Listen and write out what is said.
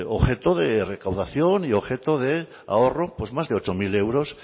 objetos de recaudación y objeto de ahorro pues más de ocho mil